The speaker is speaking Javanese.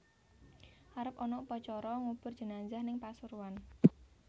Arep ana upacara ngubur jenazah ning Pasuruan